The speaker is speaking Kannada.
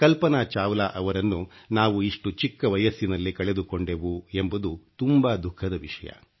ಕಲ್ಪನಾ ಚಾವ್ಲಾ ಅವರನ್ನು ನಾವು ಇಷ್ಟು ಚಿಕ್ಕ ವಯಸ್ಸಿನಲ್ಲೇ ಕಳೆದುಕೊಂಡೆವು ಎಂಬುದು ತುಂಬಾ ದುಖಃದ ವಿಷಯ